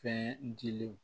Fɛn dilenw